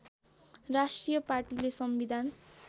राष्ट्रिय पार्टीले संविधान